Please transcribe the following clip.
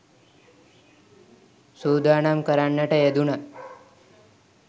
සූදානම් කරන්නට යෙදුණා.